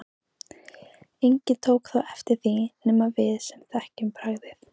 Enginn tók þó eftir því nema við sem þekkjum bragðið.